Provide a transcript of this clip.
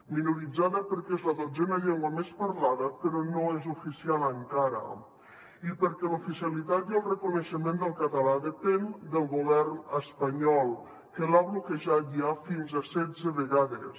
minoritzada perquè és la dotzena llengua més parlada però no és oficial encara i perquè l’oficialitat i el reconeixement del català depèn del govern espanyol que l’ha bloquejat ja fins a setze vegades